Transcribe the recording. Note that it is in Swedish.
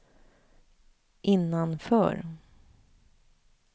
innanför